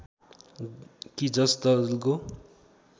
कि जस दलको